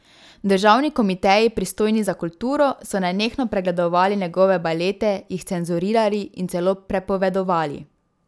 Državni komiteji, pristojni za kulturo, so nenehno pregledovali njegove balete, jih cenzurirali in celo prepovedovali.